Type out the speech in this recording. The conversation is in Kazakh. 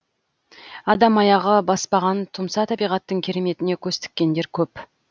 адам аяғы баспаған тұмса табиғаттың керметіне көз тіккендер көп